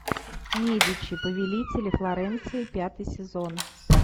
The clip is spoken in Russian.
медичи повелители флоренции пятый сезон